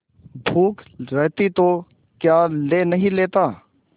भूख रहती तो क्या ले नहीं लेता